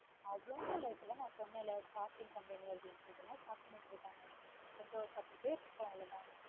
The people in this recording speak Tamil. அவ்ளோ அதான் நேத்து நான் சொன்னேன்ல shopping company அப்படினு ஏதாவது shop பண்ணிட்டு இருப்பாங்கன்னு என்கிட்ட ஒரு பத்துபேர் இருக்கும் அவ்ளோதான்